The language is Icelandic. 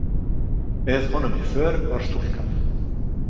Með honum í för var stúlkan.